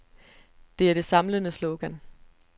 Det er det samlende slogan.